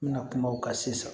N bɛna kuma o kan sisan